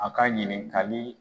A ka ɲininkali